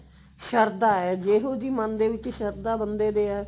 ਸ਼ਰਧਾ ਹੈ ਜਿਹੋਜਿਹਿ ਮਨ ਦੇ ਵਿੱਚ ਮਨ ਦੇ ਵਿੱਚ ਸ਼ਰਧਾ ਬੰਦੇ ਦੇ ਆ